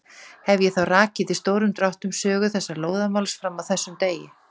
Hefi ég þá rakið í stórum dráttum sögu þessa lóðamáls fram að þessum degi.